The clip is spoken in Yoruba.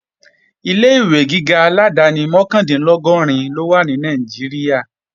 Ilé-ìwé gíga aládáni mọ́kàndínlọ́gọ́rin ló wà ní Nàìjíríà